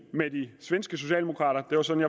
med de svenske socialdemokraterna det var sådan